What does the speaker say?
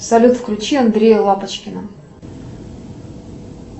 салют включи андрея лапочкина